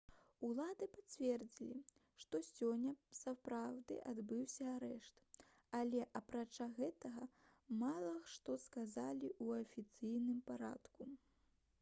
улады пацвердзілі што сёння сапраўды адбыўся арышт але апрача гэтага мала што сказалі ў афіцыйным парадку